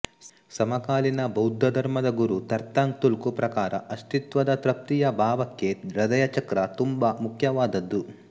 ಸಮಕಾಲೀನ ಭೌದ್ಧಧರ್ಮದ ಗುರು ತರ್ಥಂಗ್ ತುಲ್ಕು ಪ್ರಕಾರ ಅಸ್ತಿತ್ವದ ತೃಪ್ತಿಯ ಭಾವಕ್ಕೆ ಹೃದಯ ಚಕ್ರ ತುಂಬಾ ಮುಖ್ಯವಾದದ್ದು